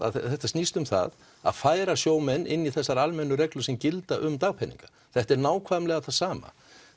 þetta snýst um það að færa sjómenn inn í þessar almennu reglur sem gilda um dagpeninga þetta er nákvæmlega það sama